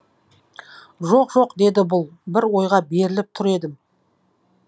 жоқ жоқ деді бұл бір ойға беріліп тұр едім